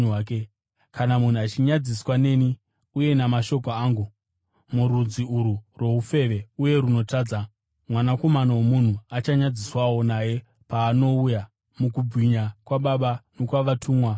Kana munhu achinyadziswa neni uye namashoko angu murudzi urwu rwoufeve uye runotadza, Mwanakomana woMunhu achanyadziswawo naye paanouya mukubwinya kwaBaba nokwavatumwa vatsvene.”